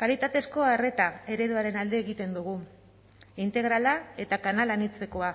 kalitatezko arreta ereduaren alde egiten dugu integrala eta kanal anitzekoa